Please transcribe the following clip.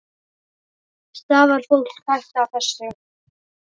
Stafar fólki hætta af þessu?